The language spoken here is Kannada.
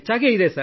ಬ್ಯಾಡ್ಮಿಂಟನ್